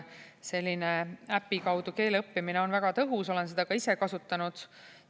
Selline äpi kaudu keele õppimine on väga tõhus, olen seda ka ise kasutanud.